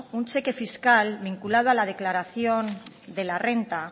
un cheque fiscal vinculado a la declaración de la renta